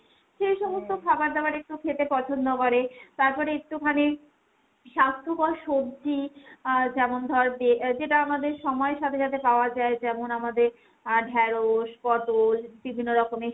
সেই সমস্ত খাবার দাবার একটু খেতে পছন্দ করে। তারপরে একটুখানি স্বাস্থ্যকর সব্জি আহ যেমন ধর যেটা আমাদের সময়ের সাথে সাথে পাওয়া যায়, যেমন আমাদের আহ ঢেঁড়শ, পটল বিভিন্ন রকমের